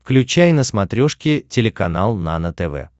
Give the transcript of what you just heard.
включай на смотрешке телеканал нано тв